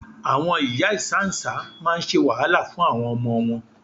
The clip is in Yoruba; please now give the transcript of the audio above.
Àwọn ìyá ìsáǹsá máa ń ṣe wàhálà fún àwọn ọmọ wọn.